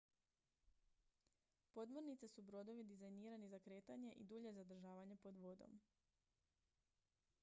podmornice su brodovi dizajnirani za kretanje i dulje zadržavanje pod vodom